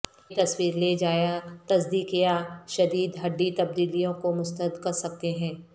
یہ تصویر لے جایا تصدیق یا شدید ہڈی تبدیلیوں کو مسترد کر سکتے ہیں